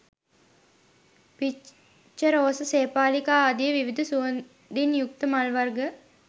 පිච්ච, රෝස, සේපාලිකා ආදි විවිධ සුවඳින් යුක්ත මල් වර්ග